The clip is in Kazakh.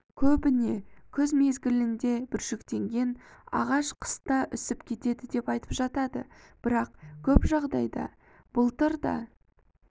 көбіне күз мезгілінде бүршіктенген ағаш қыста үсіп кетеді деп айтып жатады бірақ көп жағдайда былтыр да